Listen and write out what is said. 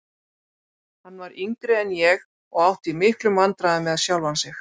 Hann var yngri en ég og átti í miklum vandræðum með sjálfan sig.